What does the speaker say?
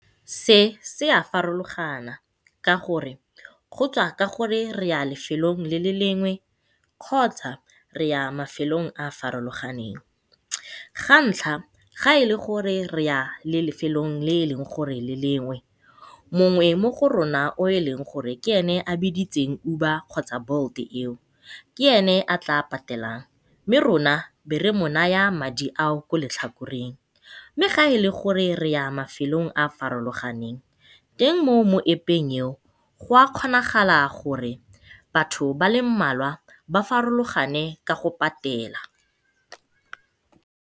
Se se a farologana ka gore go tswa ka gore re ya lefelong le le lengwe kgotsa re ya mafelong a farologaneng. Ga ntlha ga e le gore re ya lefelong e leng gore le lengwe mongwe mo go rona o e leng gore o biditse Uber kgotsa Bolt eo ke ene a tla patelang, mme rona be re mo naya madi a o mo letlhakoreng. Mme fa re ya mafelong a farologaneng teng mo App-eng eo gwa kgonagala gore batho ba le mmalwa ba farologane ka go patela.